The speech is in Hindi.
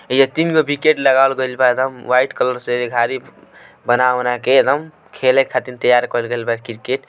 ए तीनगो विकेट लगा गई बाएकदम वाईट कलर से बना बना के एकदम खेले खातिर तैयार कईले बा क्रिकेट ।